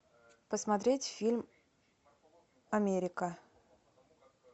посмотреть фильм америка